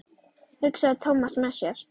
hugsaði Thomas með sér.